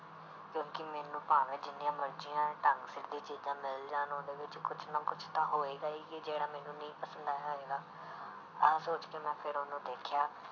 ਕਿਉਂਕਿ ਮੈਨੂੰ ਭਾਵੇਂ ਜਿੰਨੀਆਂ ਮਰਜ਼ੀਆਂ ਢੰਗ ਸਿਰ ਦੀ ਚੀਜ਼ਾਂ ਮਿਲ ਜਾਣ ਉਹਦੇ ਵਿੱਚ ਕੁਛ ਨਾ ਕੁਛ ਤਾਂ ਹੋਏਗੀ ਹੀ ਕਿ ਜਿਹੜਾ ਮੈਨੂੰ ਨਹੀਂ ਪਸੰਦ ਆਇਆ ਹੋਏਗਾ ਆਹ ਸੋਚ ਕੇ ਮੈਂ ਫਿਰ ਉਹਨੂੰ ਦੇਖਿਆ।